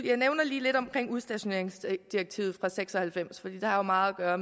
jeg nævner lige lidt om udstationeringsdirektivet fra nitten seks og halvfems fordi det har meget at gøre